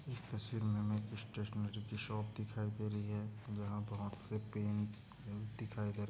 इस तस्वीर मे हमे एक स्टेशनरी की शॉप दिखाई दे रही है यहाँ बहोत से पेन दिखाई दे रहे--